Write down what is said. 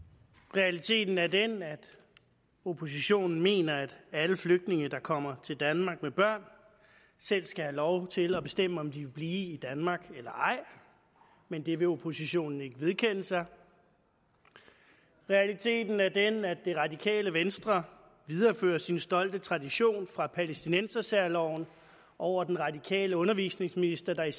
realiteten er den at oppositionen mener at alle flygtninge der kommer til danmark med børn selv skal have lov til at bestemme om de vil blive i danmark eller ej men det vil oppositionen ikke vedkende sig realiteten er den at det radikale venstre viderefører sin stolte tradition fra palæstinensersærloven over den radikale undervisningsminister der i